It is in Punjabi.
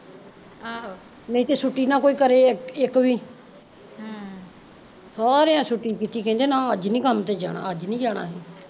ਆਹ ਨਹੀਂ ਤੇ ਛੁੱਟੀ ਨਾ ਕੋਈ ਕਰੇ ਇੱਕ ਵੀ ਹਮ ਸਾਰਿਆ ਛੁੱਟੀ ਕੀਤੀ ਕਹਿਦੇ ਨਾ ਅੱਜ ਨੀ ਕੰਮ ਤੇ ਜਾਣਾ ਅਸੀਂ ਅੱਜ ਨੀ ਜਾਣਾ